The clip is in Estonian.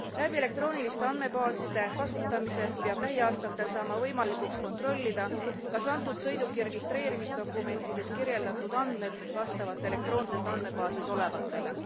Läbi elektrooniliste andmebaaside kasutamise peab lähiaastatel saama võimalikuks kontrollida, kas antud sõiduki registreerimisdokumentides kirjeldatud andmed vastavad elektroonses andmebaasis olevatele.